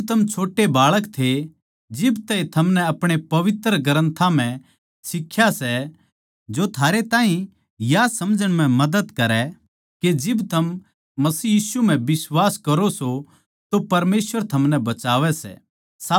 जिब थम छोट्टे बाळक थे जिब तै ए थमनै आपणे पवित्र ग्रन्थां म्ह सिख्या सै जो थारे ताहीं या समझण म्ह मदद करै के जिब थम मसीह यीशु म्ह बिश्वास करो सों तो परमेसवर थमनै बचावै सै